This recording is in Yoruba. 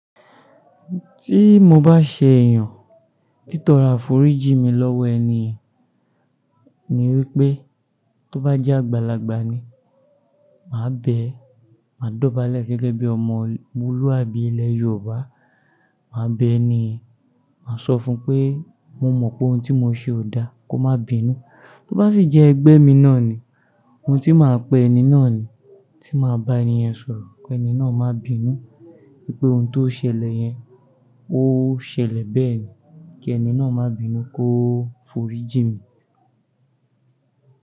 Tí mo bá ṣe eeyàn títóro aforíjí mi lọ́wọ́ ẹni yen, ni wípé tó bá jẹ́ àgbàlagbà ni, màá bẹ, màá dọ̀bálẹ̀ gẹ́gẹ́ bí ọmọ ol, moluàbí ilẹ̀ Yoobá, màá bẹ ẹni yen, màá sọ fún pé mo mọ̀ pohun tí mo ṣe ò da, kó má bínú. Tó bá sì jẹ́ ẹgbẹ́ mi náà ni, ohun tí màá pe ẹni náà ni, tí màá bá ẹni yẹn sọ̀rọ̀ kẹni náà má bínú, wípé ohun tó ṣẹlẹ̀ yẹn, ó ṣẹlẹ̀ bẹ́ẹ̀ ni, kí ẹni náà má bínú kó forí jí mi.